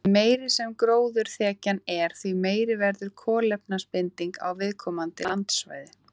Því meiri sem gróðurþekjan er, því meiri verður kolefnisbindingin á viðkomandi landsvæði.